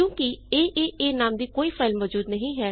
ਕਿਉਂ ਕਿ ਏਏਏ ਨਾਮ ਦੀ ਕੋਈ ਫਾਈਲ ਮੌਜੂਦ ਨਹੀਂ ਹੈ